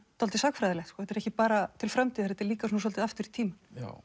dálítið sagnfræðilegt þetta er ekki bara til framtíðar þetta er líka svolítið aftur í tímann